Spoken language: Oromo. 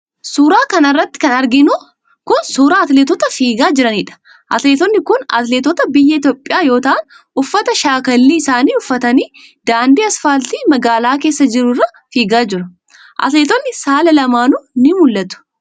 Suura kana irratti kan arginu kun, suura atileetota fiigaa jiraniidha. Atileetonni kun, atileetota biyya Itoophiyaa yoo ta'an ,uffata shaakallii isaanii uffatanii daandii asfaaltii magaalaa keessa jiru irra fiigaa jiru. Atileetonni saala lamaanuu ni mul'atu.